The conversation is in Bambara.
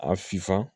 A sifa